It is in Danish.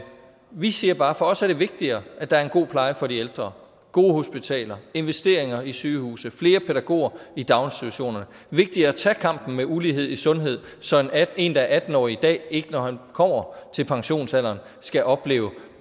vi siger bare at for os er det vigtigere at der er en god pleje for de ældre gode hospitaler investeringer i sygehuse flere pædagoger i daginstitutionerne vigtigere at tage kampen med ulighed i sundhed så en der er atten år i dag ikke når han kommer til pensionsalderen skal opleve